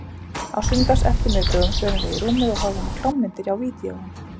Á sunnudagseftirmiðdögum förum við í rúmið og horfum á klámmyndir á vídeóinu.